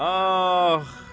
Ax!